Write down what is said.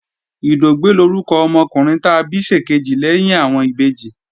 Ìdògbẹ́ lórúkọ ọmọkùnrin ta bí ṣèkejì lẹ́yìn àwọn ìbejì